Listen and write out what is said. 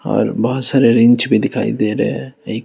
और बहोत सारे रिंच भी दिखाई दे रहे हैं एक--